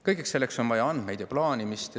Kõigeks selleks on vaja andmeid ja plaanimist.